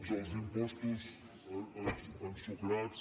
dels impostos ensucrats